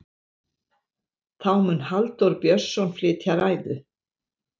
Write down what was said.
þá mun halldór björnsson flytja ræðu